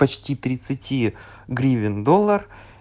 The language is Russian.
почти тридцати гривен доллар